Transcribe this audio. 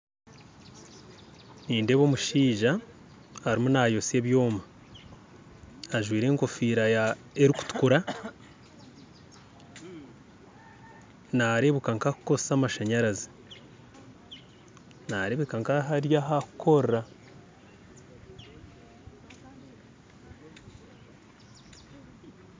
Nindeeba omushaija arimu nayosya ebyoma ajwaire engofiira erikutukura ,naarebuka nkakukoresa amashanyarazi ,naarebeka nkari ahakukorera